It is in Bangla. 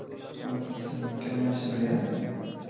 ওয়ালাইকুম সালাম কেমন আছেন ভাইয়া?